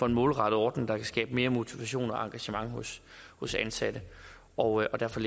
en målrettet ordning der kan skabe mere motivation og engagement hos hos ansatte og derfor